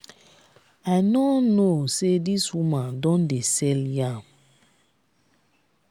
i no know say dis woman don dey sell yam.